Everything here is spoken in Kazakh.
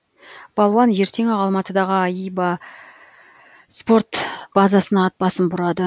балуан ертең ақ алматыдағы аиба спорт базасына ат басын бұрады